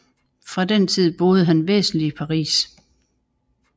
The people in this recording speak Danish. Fra den tid boede han væsentlig i Paris